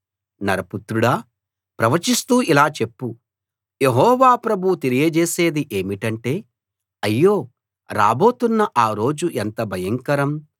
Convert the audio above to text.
నరపుత్రుడా ప్రవచిస్తూ ఇలా చెప్పు యెహోవా ప్రభువు తెలియజేసేది ఏమిటంటే అయ్యో రాబోతున్న ఆ రోజు ఎంత భయంకరం